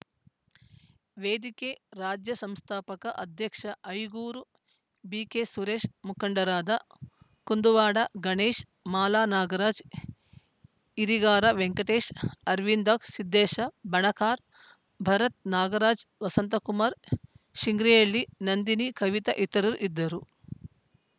ವೇದಿಕೆ ರಾಜ್ಯ ಸಂಸ್ಥಾಪಕ ಅಧ್ಯಕ್ಷ ಐಗೂರು ಬಿಕೆಸುರೇಶ ಮುಖಂಡರಾದ ಕುಂದುವಾಡ ಗಣೇಶ ಮಾಲಾ ನಾಗರಾಜ ಈರಿಗಾರ ವೆಂಕಟೇಶ ಅರವಿಂದಾಕ್ಷ ಸಿದ್ದೇಶ ಬಣಕಾರ್‌ ಭರತ್‌ ನಾಗರಾಜ್ ವಸಂತಕುಮಾರ ಶಿಂಗ್ರಿಹಳ್ಳಿ ನಂದಿನಿ ಕವಿತಾ ಇತರರು ಇದ್ದರು